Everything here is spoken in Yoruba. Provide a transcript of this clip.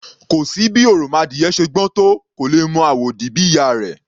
Kò sí bí òròmọadìyẹ ṣe gbọ́n tó, kò lè mọ àwòdì bí ìyá a rẹ̀. /